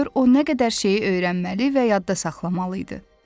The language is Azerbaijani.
Gör o nə qədər şeyi öyrənməli və yadda saxlamalı idi.